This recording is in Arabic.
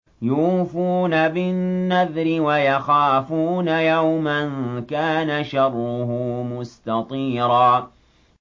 يُوفُونَ بِالنَّذْرِ وَيَخَافُونَ يَوْمًا كَانَ شَرُّهُ مُسْتَطِيرًا